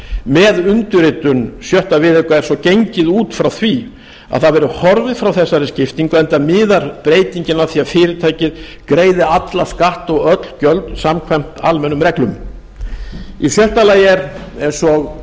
með undirritun sjötta viðauka er svo gengið út frá því að það verði horfið frá þessari skiptingu enda miðar breytingin að því að fyrirtækið greiði alla skatta og öll gjöld samkvæmt almennum reglum í sjötta lagi er eins og